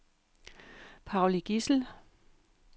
Pauli Gissel